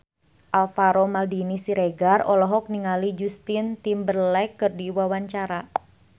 Alvaro Maldini Siregar olohok ningali Justin Timberlake keur diwawancara